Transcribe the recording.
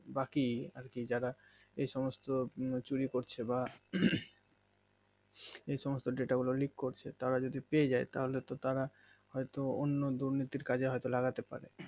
বাকি আর কি যারা এই সমস্ত চুরি করছে বা এই সমস্ত data গুলো লিক করছে তারা যদি পেয়ে যাই তাহলে তো হয় তো অন্য দুর্নীতির কাজে হয় তো লাগাতে পারে